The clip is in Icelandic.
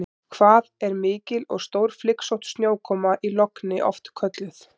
Hvað er mikil og stórflygsótt snjókoma í logni oft kölluð?